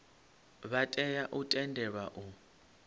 vha tea u tendelwa u